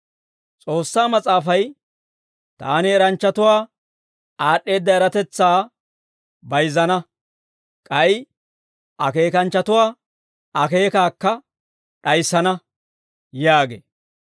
S'oossaa Mas'aafay, «Taani eranchchatuwaa aad'd'eedda eratetsaa, bayizzana; k'ay akeekanchchatuwaa akeekaakka d'ayissana» yaagee.